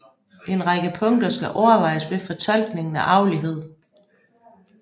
En række punkter skal overvejes ved fortolkningen af arvelighed